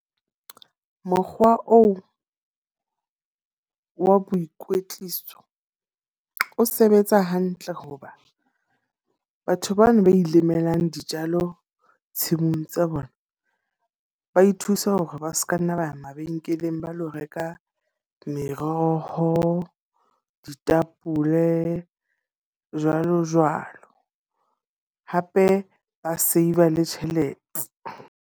Mokgwa oo wa boikwetliso o sebetsa hantle hoba batho bana ba ilemelang dijalo tshimong tsa bona. Ba ithusa hore ba seka nna ba ya mabenkeleng ba lo reka meroho, ditapole, jwalo jwalo. Hape ba save-a le tjhelete.